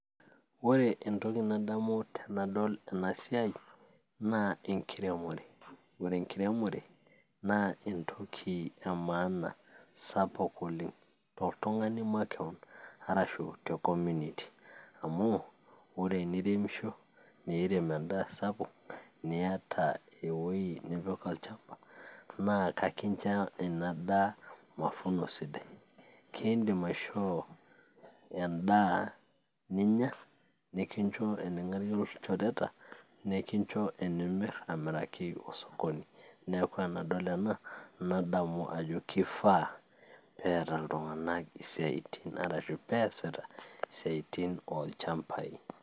Ore entoki nadamu tenadol ena siai naa enkiremore ore enkiremore naa entoki e maana sapuk oleng toltung'ani makewon arashu te community amuu ore eniremisho niirem endaa sapuk niyata ewoi nipik olchamba naa kakincho ina daa mafuno sidai kiindim aishoo endaa ninya nikincho ening'arie ilchoreta nikincho enimirr amiraki osokoni neeku enadol ena nadamu ajo kifaa peeta iltung'anak isiaitin arashu peesita isiaitin olchambai.